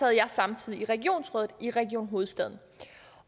jeg samtidig i regionsrådet i region hovedstaden